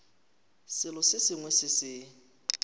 selo se sengwe se se